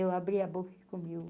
Eu abri a boca e comi o...